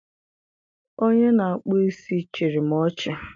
Onye na-akpụ isi chịrị m ọchị